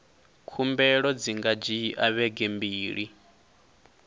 khumbelo dzi nga dzhia vhege mbili